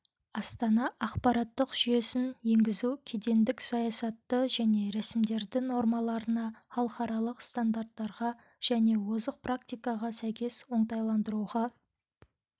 астана ақпараттық жүйесін енгізу кедендік саясатты және рәсімдерді нормаларына халықаралық стандарттарға және озық практикаға сәйкес оңтайландыруға